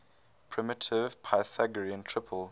primitive pythagorean triple